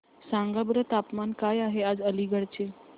सांगा बरं तापमान काय आहे आज अलिगढ चे